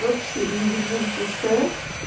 вообще не ебу в душе